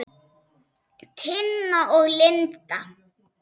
Tina og Linda.